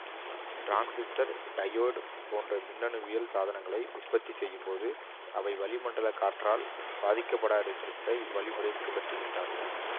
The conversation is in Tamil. டிரான்சிஸ்டர்டையோடு போன்ற மின்னணுவியல் சாதனங்களை உற்பத்தி செய்யும் போது அவை வெளி மண்டல காற்றால் பாதிக்கப்படாருக்க இவ் வழிமுறையைப் பின்பற்றுகின்றார்கள்